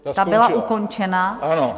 Ta byla ukončena?